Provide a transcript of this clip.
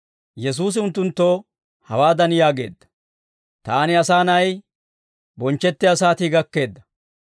Yesuusi unttunttoo hawaadan yaageedda; «Taani, Asaa Na'ay, bonchchettiyaa saatii gakkeedda.